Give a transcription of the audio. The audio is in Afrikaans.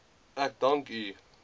ek dank u